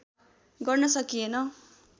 गर्न सकिएन